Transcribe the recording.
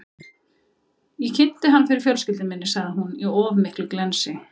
Ég kynnti hann fyrir fjölskyldunni, sagði hún, í of miklu glensi.